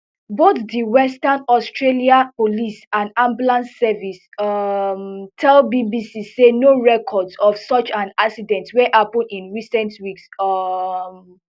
both di western australia police and ambulance service um tell bbc say no records of such an accident wey happen in recent weeks um